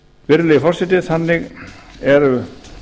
virðulegi forseti þannig eru